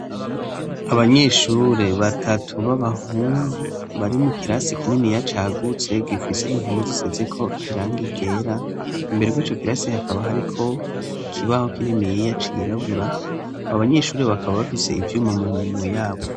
Abanyeshure batatu b'abahungu bari mu kirasi kininiya cagutse, gifise impome zisizeko irangi ryera, imbere y'ico kirasi hakaba hariko ikibaho kininiya cirabura, abo banyeshure bakaba bafise ivyuma mu minwe yabo.